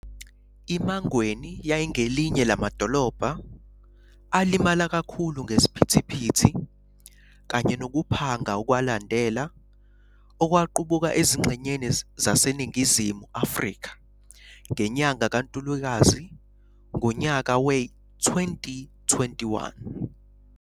I-Mangweni yayingelinye lamadolobha alimala kakhulu ngeziphithphithi kanye nokuphanga okwalandela okwaqubuka ezingxenyeni zaseNingizimu Afrika ngenyanga kaNtulikazi ngonyaka we- 2021.